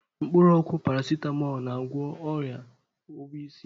Mkpụrụ ọgwụ Parasitamolu, na-agwọ o̻ya ọwa isi.